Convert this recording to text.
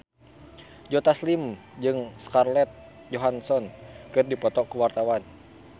Joe Taslim jeung Scarlett Johansson keur dipoto ku wartawan